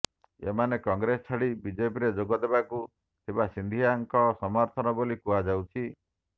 ଏମାନେ କଂଗ୍ରେସ ଛାଡ଼ି ବିଜେପିରେ ଯୋଗ ଦେବାକୁ ଥିବା ସିନ୍ଧିଆଙ୍କ ସମର୍ଥକ ବୋଲି କୁହାଯାଉଛି